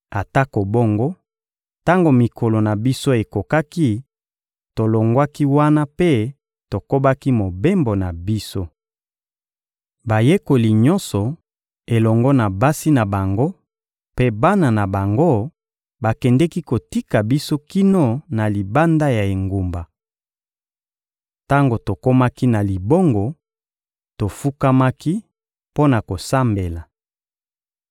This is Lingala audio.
Atako bongo, tango mikolo na biso ekokaki, tolongwaki wana mpe tokobaki mobembo na biso. Bayekoli nyonso elongo na basi na bango mpe bana na bango bakendeki kotika biso kino na libanda ya engumba. Tango tokomaki na libongo, tofukamaki mpo na kosambela.